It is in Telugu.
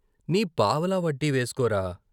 నీ పావలా వడ్డీ వేసుకోరా "